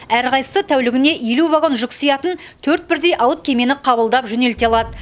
әрқайсысы тәулігіне елу вагон жүк сиятын төрт бірдей алып кемені қабылдап жөнелте алады